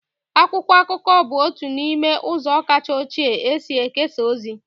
Akwụkwọ akụkọ bụ otu n'ime ụzọ kacha ochie e si ekesa ozi.